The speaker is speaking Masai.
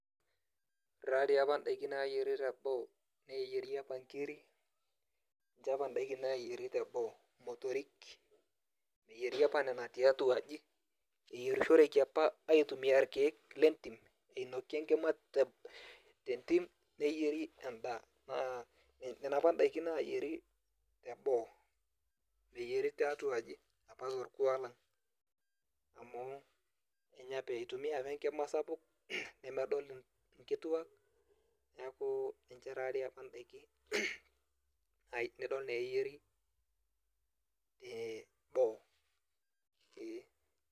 Ore tadi apa idaiki nayieri teboo, neyieri apa nkiri, ninche apa daiki nayieri teboo. Motorik, eyieri apa nena tiatua aji, eyierishoreki apa aitumia irkeek lentim, inoki enkima tentim, neyieri endaa. Naa nena apa daiki nayieri teboo. Meyieri tiatua aji apa torkuak lang, amu eitumia apa enkima sapuk, nemedol inkituak, neeku ninche tadi apa daiki nidol naa eyieri teboo. Ee.